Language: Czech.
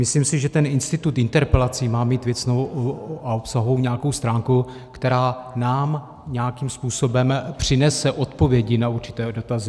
Myslím si, že ten institut interpelací má mít věcnou a obsahovou nějakou stránku, která nám nějakým způsobem přinese odpovědi na určité dotazy.